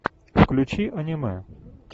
включи аниме